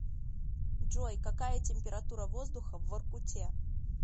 джой какая температура воздуха в воркуте